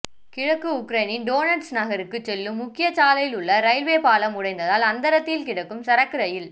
கிழக்கு உக்ரைனின் டோனட்ஸ்க் நகருக்கு செல்லும் முக்கிய சாலையில் உள்ள ரயில்வே பாலம் உடைந்ததால் அந்தரத்தில் கிடக்கும் சரக்கு ரயில்